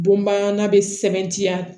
Bonbana bɛ sɛbɛntiya